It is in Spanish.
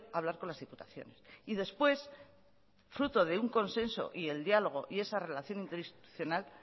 hablar con las diputaciones y después fruto de un consenso y el diálogo y esa relación interinstitucional